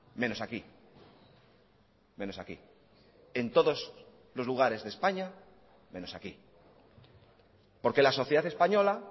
menos aquí menos aquí en todos los lugares de españa menos aquí porque la sociedad española